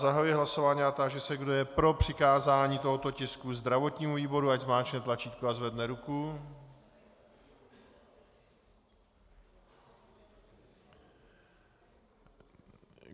Zahajuji hlasování a táži se, kdo je pro přikázání tohoto tisku zdravotnímu výboru, ať zmáčkne tlačítko a zvedne ruku.